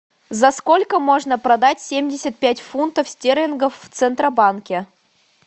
за сколько можно продать семьдесят пять фунтов стерлингов в центробанке